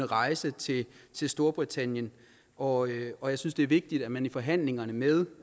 rejse til storbritannien og og jeg synes det er vigtigt at man i forhandlingerne med